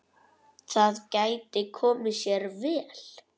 Það gæti komið sér vel.